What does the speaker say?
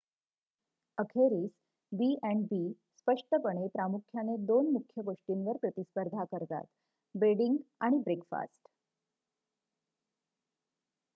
अखेरीस b&b स्पष्टपणे प्रामुख्याने 2 मुख्य गोष्टींवर प्रतिस्पर्धा करतात बेडिंग आणि ब्रेकफास्ट